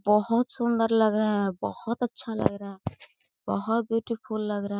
बहोत सुन्दर लग रहा है बहोत अच्छा लग रहा है बहोत ब्यूटीफुल लग रहा--